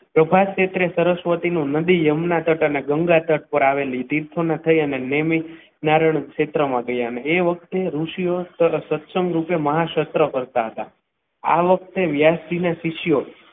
પ્રભાસ ક્ષેત્રે સરસ્વતી નદી યમુના તટના ડુંગરા તટ પર આવેલી તીર્થોના થઈને નેમી નારાયણ ક્ષેત્રમાં ગયા અને તે વખતે ઋષિઓ સત્સંગ રૂપે મહા સત્સંગ કરતા હતા આ વખતે વ્યાસજીને શીખ્યો.